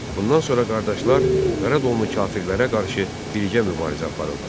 Bundan sonra qardaşlar Qaradonlu kafirlərə qarşı birgə mübarizə aparırlar.